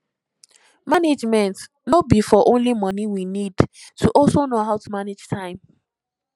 management no be for only money we need to also know how to manage time